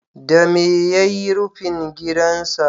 Dame ya yi rufin gidansa?